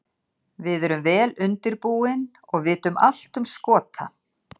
Við erum vel undirbúin og vitum allt um Skota.